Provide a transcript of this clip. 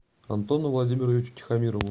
антону владимировичу тихомирову